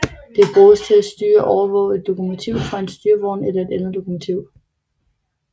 Det bruges til at styre og overvåge et lokomotiv fra en styrevogn eller et andet lokomotiv